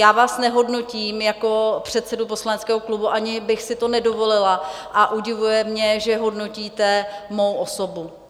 Já vás nehodnotím jako předsedu poslaneckého klubu, ani bych si to nedovolila, a udivuje mě, že hodnotíte mou osobu.